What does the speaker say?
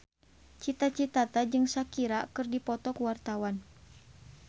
Cita Citata jeung Shakira keur dipoto ku wartawan